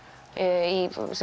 í